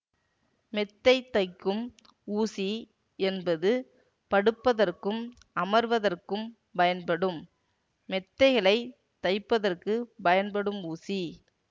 மெத்தை தைக்கும் ஊசி என்பது படுப்பதற்கும் அமர்வதற்கும் பயன்படும் மெத்தைகளைத் தைப்பதற்குப் பயன்படும் ஊசி